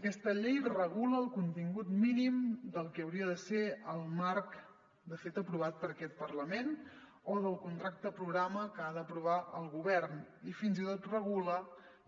aquesta llei regula el contingut mí·nim del que hauria de ser el marc de fet aprovat per aquest parlament o del contrac·te programa que ha d’aprovar el govern i fins i tot regula